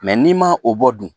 n'i ma o bɔ dun